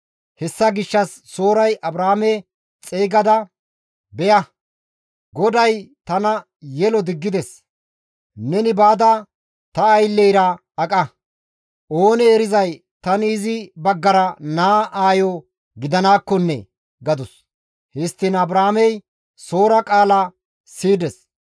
Hessa gishshas Sooray Abraame xeygada, «Beya! GODAY tana yelo diggides. Neni baada, ta aylleyra aqa; oonee erizay, tani izi baggara naa aayo gidanaakkonne» gadus; histtiin Abraamey Soora qaala siyides.